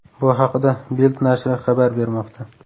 Bu haqida Bild nashri xabar bermoqda.